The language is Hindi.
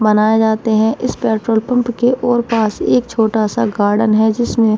बनाए जाते हैं। इस पेट्रोल पंप के ओर पास एक छोटा सा गार्डेन है जिसमें --